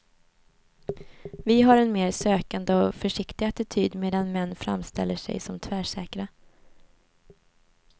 Vi har en mer sökande och försiktig attityd, medan män framställer sig som tvärsäkra.